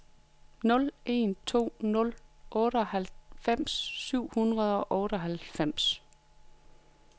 nul en to nul otteoghalvfems syv hundrede og otteoghalvfems